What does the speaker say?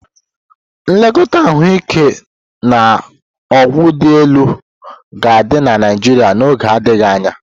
Nlekọta ahụike na ọgwụ dị elu ga-adị na Naịjirịa n'oge adịghị anya.